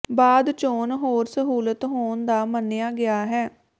ਬਾਅਦ ਚੋਣ ਹੋਰ ਸਹੂਲਤ ਹੋਣ ਦਾ ਮੰਨਿਆ ਗਿਆ ਹੈ